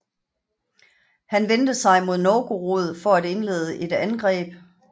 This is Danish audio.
Han vendte sig mod Novgorod for at indlede et angreb